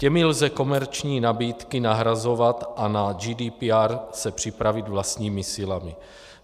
Těmi lze komerční nabídky nahrazovat a na GDPR se připravit vlastními silami.